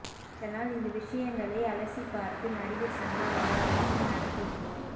அதனால் இந்த விஷயங்களை அலசிப்பார்த்து நடிகர் சங்க வளாகத்தில் நடத்த உள்ளோம்